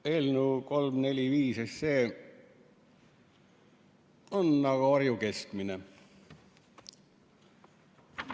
See eelnõu 345 on nagu Harju keskmine.